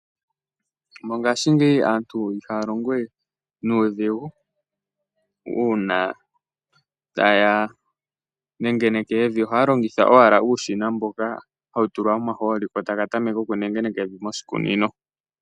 Mongashingeyi aantu ihaa longo we nuudhigu uuna taya nengeneke evi, ohaya longitha owala uushina mboka hawu tulwa omahooli, ko taka tameke okunengeneka evi moshikunino.